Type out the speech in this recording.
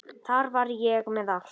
Þar var ég með allt.